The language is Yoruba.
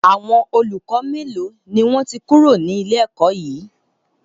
Àwọn olùkọ́ melo ni wọn ti kúrò ní ilé ẹ̀kọ́ yí?